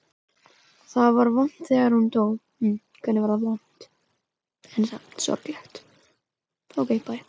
Það var vont þegar hún dó.